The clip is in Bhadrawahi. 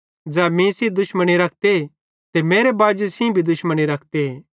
ज़ै मीं सेइं दुश्मनी रखते ते तै मेरे बाजी सेइं भी दुश्मनी रखते